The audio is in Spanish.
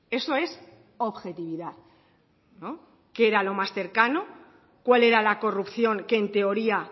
eso es objetividad no qué era lo más cercano cuál era la corrupción que en teoría